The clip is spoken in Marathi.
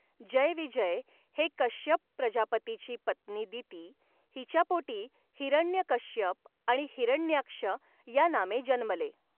जयविजय हे कश्यप प्रजापतीची पत्नी दिती, हिच्यापोटी हिरण्यकश्यप आणि हिरण्याक्ष या नामे जन्मले.